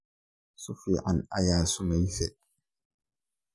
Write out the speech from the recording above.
Sifican aya sumeyse.